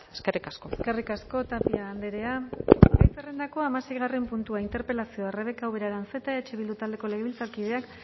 eskerrik asko eskerrik asko tapia andrea gai zerrendako hamaseigarren puntua interpelazioa rebeka ubera aranzeta eh bildu taldeko legebiltzarkideak